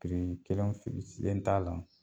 kelen len t'a la.